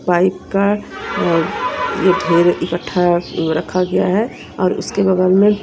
pipe का और ये ढेर इकट्ठा रखा गया है और उसके बगल में --